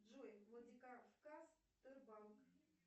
джой владикавказ тербанк